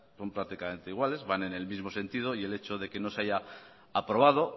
son prácticamente iguales van en el mismo sentido y el hecho de que no se haya aprobado